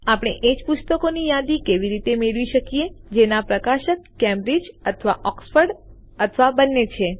આપણે એજ પુસ્તકોની યાદી કેવી રીતે મેળવી શકીએ જેના પ્રકાશક કેમ્બ્રિજ અથવા ઓક્સફોર્ડ અથવા બંને છે